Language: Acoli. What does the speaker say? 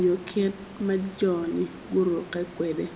nyo kit ma jone guruke kwede.